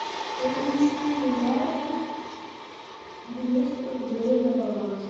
перевести маме двести рублей на баланс